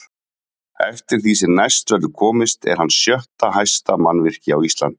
Eftir því sem næst verður komist er hann sjötta hæsta mannvirki á Íslandi.